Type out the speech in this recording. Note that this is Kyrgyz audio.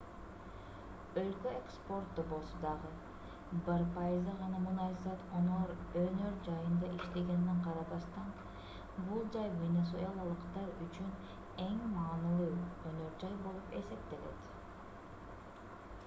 өлкө экспорттобосо дагы бир пайызы гана мунайзат өнөр жайында иштегенине карабастан бул жай венесуэлалыктар үчүн эң маанилүү өнөр жай болуп эсептелет